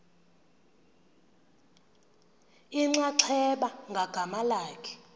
inxaxheba ngagama lakhe